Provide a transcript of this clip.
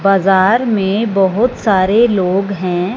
बाजार में बहोत सारे लोग हैं।